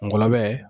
Ngɔlɔbɛ